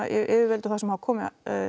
yfirvöld og þá sem hafa komið